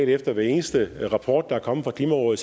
efter hver eneste rapport der er kommet fra klimarådet